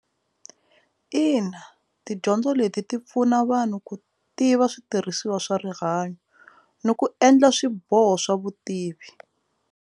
Ina, tidyondzo leti ti pfuna vanhu ku tiva switirhisiwa swa rihanyo ni ku endla swiboho swa vutivi.